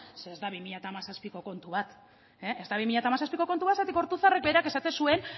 zeren ez da bi mila hamazazpiko kontu bat ez da bi mila hamazazpiko kontu bat zergatik ortuzarrek berak esaten zuen